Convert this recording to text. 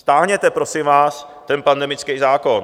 Stáhněte, prosím vás, ten pandemický zákon.